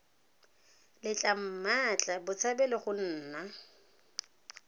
letla mmatla botshabelo go nna